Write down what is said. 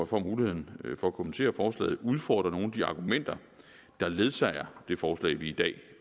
får muligheden for at kommentere forslaget udfordre nogle af de argumenter der ledsager det forslag vi i dag